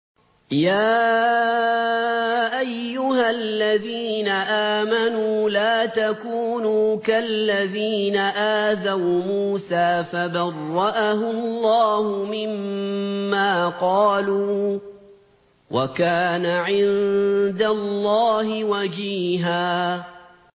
يَا أَيُّهَا الَّذِينَ آمَنُوا لَا تَكُونُوا كَالَّذِينَ آذَوْا مُوسَىٰ فَبَرَّأَهُ اللَّهُ مِمَّا قَالُوا ۚ وَكَانَ عِندَ اللَّهِ وَجِيهًا